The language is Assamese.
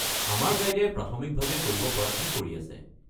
আমাৰ গাইডে প্ৰাথমিকভাৱে কৰিব পৰাখিনি চেষ্টা কৰি আছে।